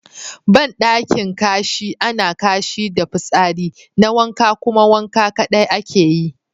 Bandaki Kashi ana Kashi da fitsari na wanka kuma wanka kadai ake yi.